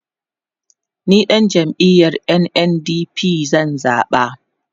ni ɗan jam'iyar NNDP zan zaɓa